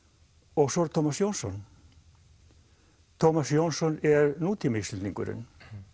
og svo Tómas Jónsson Tómas Jónsson er nútíma Íslendingurinn